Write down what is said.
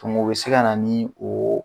o bɛ se kana ni oo